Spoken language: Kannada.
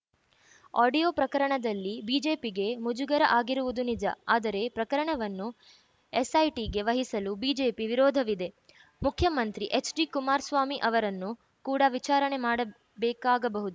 ಆಡಿಯೋ ಪ್ರಕರಣದಲ್ಲಿ ಬಿಜೆಪಿಗೆ ಮುಜುಗರ ಆಗಿರುವುದು ನಿಜ ಆದರೆ ಪ್ರಕರಣವನ್ನು ಎಸ್‌ಐಟಿಗೆ ವಹಿಸಲು ಬಿಜೆಪಿ ವಿರೋಧವಿದೆ ಮುಖ್ಯಮಂತ್ರಿ ಎಚ್‌ಡಿಕುಮಾರಸ್ವಾಮಿ ಅವರನ್ನು ಕೂಡ ವಿಚಾರಣೆ ಮಾಡಬೇಕಾಗಬಹು